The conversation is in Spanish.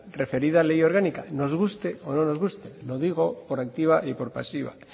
referida ley orgánica nos guste o no guste lo digo por activa y por pasiva